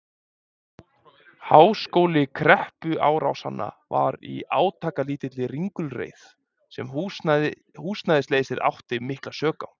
Háskóli kreppuáranna var í átakalítilli ringulreið, sem húsnæðisleysið átti mikla sök á.